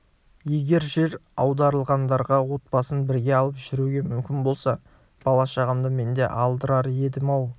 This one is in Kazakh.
егер жер аударылғандарға отбасын бірге алып жүруге мүмкін болса бала-шағамды мен де алдырар едім-ау